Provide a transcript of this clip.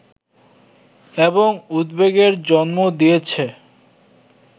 এবং উদ্বেগের জন্ম দিয়েছে